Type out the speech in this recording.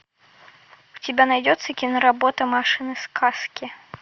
у тебя найдется киноработа машины сказки